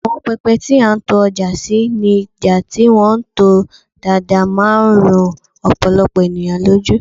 awon pepe ti a n to oja si ni ja ti won to daadaa man ru opolopo eniyan loju